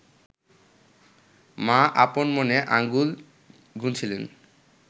মা আপন মনে আঙুল গুনছিলেন